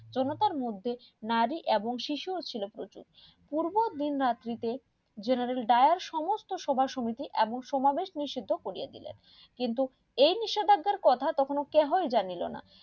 জনতার মধ্যে নারী এবং শিশুও ছিলেন প্রচুর পূর্ব দিন রাত্রি তে জেনারেল দায়ের সমস্ত সভা সমিতি এবং সমাবেশ নিষিদ্ধ করিয়া দিলেন কিন্তু এই নিষেদাজ্ঞার কথা তখন কেহই জানিলোনা